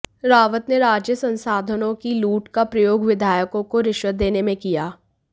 रावत ने राज्य संसाधनों की लूट का प्रयोग विधायकों को रिश्वत देने में किया